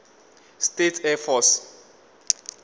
states air force